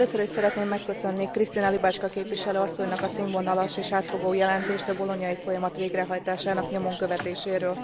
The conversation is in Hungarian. Először is szeretném megköszönni Krystyna Łybacka képviselő asszonynak a színvonalas és átfogó jelentést a bolognai folyamat végrehajtásának nyomon követéséről.